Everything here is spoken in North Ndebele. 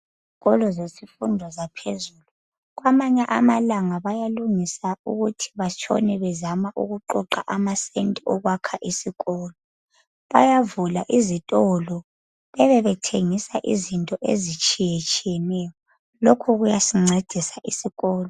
Izikolo zemfundo yaphezulu. Kwamanye amalanga bayalungisa ukuthi batshona bezama ukuqoqa amasenti okwakha isikolo. Bayavula izitolo bebe bethengisa izinto ezitshiyeneyo lokhu kuyasincedisa isikolo.